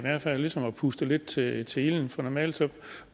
der ligesom puster lidt til til ilden for normalt